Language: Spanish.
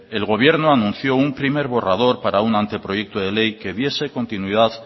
el gobierno anunció un primer borrador para un anteproyecto de ley que diese continuidad